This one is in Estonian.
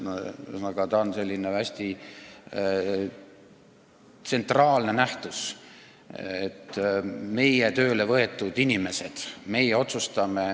Ühesõnaga, ta on selline hästi tsentraalne nähtus – meie tööle võetud inimesed, meie otsustame.